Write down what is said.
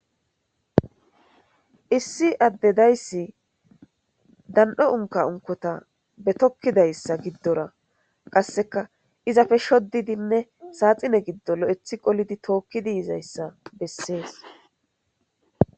Issi adde dayssi. Dan'o unkka unkkotta tokettidayssa giddora qasekka izappe shodidi sadhinne gido lo'eti qolddi tokizzi yizayssa besses.